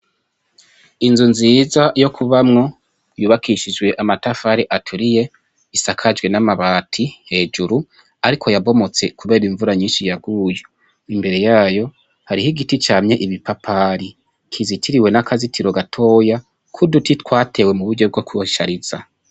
Inzu nziza yo kubamwo yubakishije amatafari aturiye isakajwe n' amabati hejuru ariko yabomotse kubera imvura nyinshi yaguye imbere yayo hariho igiti camye ipapayi kizitiriye n' akazitiro gatoya k' uduti twatewe mu buryo bwo kubishariza.